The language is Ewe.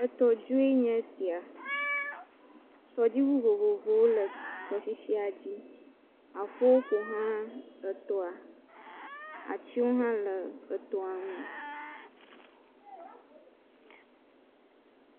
Etɔdue nye esia, tɔdziŋu vovovowo le tɔ sisia dzi, aƒewo ƒoxlã etɔa, atiwo hã le etɔa ŋu